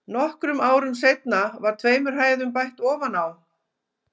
Nokkrum árum seinna var tveimur hæðum bætt ofan á.